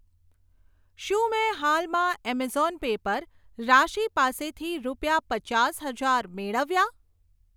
શું મેં હાલમાં એમેઝોન પે પર રાશી પાસેથી રૂપિયા પચાસ હજાર મેળવ્યા?